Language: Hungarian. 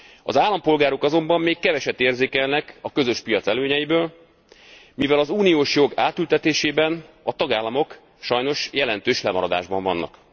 Az állampolgárok azonban még keveset érzékelnek a közös piac előnyeiből, mivel az uniós jog átültetésében a tagállamok sajnos jelentős lemaradásban vannak.